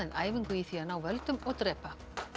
æfingu í því að ná völdum og drepa